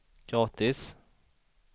gratis